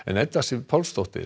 Edda Sif Pálsdóttir